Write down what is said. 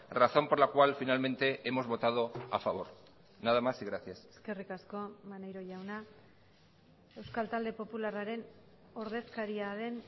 razón por la cual finalmente hemos votado a favor nada más y gracias eskerrik asko maneiro jauna euskal talde popularraren ordezkaria den